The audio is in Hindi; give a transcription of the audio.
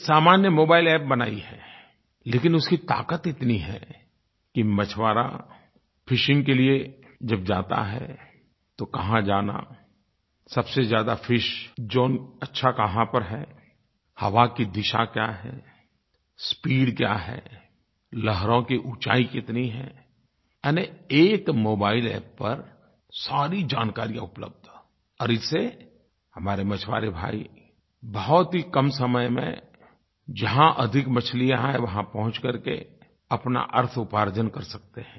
एक सामान्य मोबाइल App बनाई है लेकिन उसकी ताक़त इतनी है कि मछुआरा फिशिंग के लिये जब जाता है तो कहाँ जाना सबसे ज्यादा फिश ज़ोन अच्छा कहाँ पर है हवा की दिशा क्या है स्पीड क्या है लहरों की ऊँचाई कितनी है यानि एक मोबाइल App पर सारी जानकारियाँ उपलब्ध और इससे हमारे मछुआरे भाई बहुत ही कम समय में जहाँ अधिक मछलियाँ हैं वहाँ पहुँच करके अपना अर्थउपार्जन कर सकते हैं